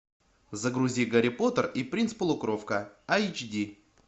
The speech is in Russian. загрузи гарри поттер и принц полукровка айч ди